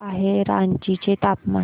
काय आहे रांची चे तापमान